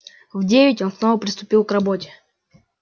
в девять он снова приступил к работе